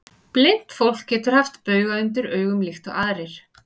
Blint fólk getur haft bauga undir augum líkt og aðrir.